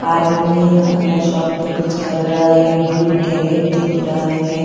आदमी अपना शॉप पे कुछ कर रहा है ब्लू कैरेट दिख रहा है.